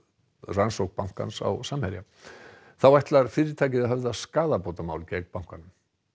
rannsókn bankans á Samherja þá ætlar fyrirtækið að höfða skaðabótamál gegn bankanum